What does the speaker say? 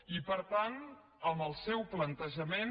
i per tant amb els seu plantejament